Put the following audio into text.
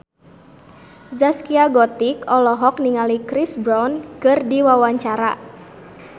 Zaskia Gotik olohok ningali Chris Brown keur diwawancara